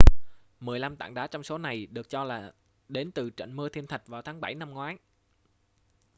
mười lăm tảng đá trong số này được cho là đến từ trận mưa thiên thạch vào tháng 7 năm ngoái